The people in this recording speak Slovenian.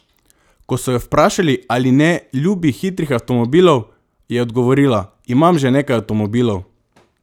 Ko so jo vprašali, ali ne ljubi hitrih avtomobilov, je odgovorila: "Imam že nekaj avtomobilov.